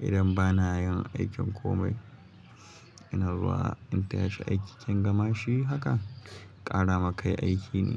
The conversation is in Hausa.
Idan bana yin aikin komai, ina zuwa in tashi aiki. Tun gama shi haka, ƙara ma kai aiki ne.